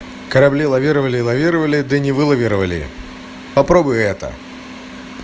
корабли лавировали лавировали да не вылавировали попробуй это